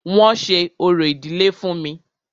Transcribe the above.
Wọ́n ṣe orò ìdílé fún mí.